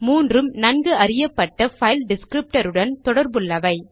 மூன்றும் நன்கு அறியப்பட்ட பைல் டிஸ்க்ரிப்டருடன் தொடர்புள்ளவை